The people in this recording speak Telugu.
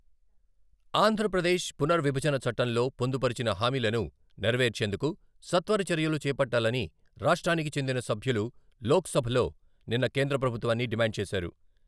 ఆంధ్రప్రదేశ్ పునర్ విభజన చట్టంలో పొందుపరచిన హామీలను నెరవేర్చేందుకు సత్వర చర్యలు చేపట్టాలని రాష్ట్రానికి చెందిన సభ్యులు లోక్సభలో నిన్న కేంద్రప్రభుత్వాన్ని డిమాండ్ చేశారు.